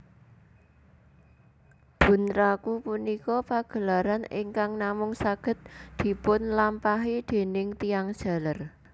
Bunraku punika pagelaran ingkang namung saged dipunlampahi déning tiyang jaler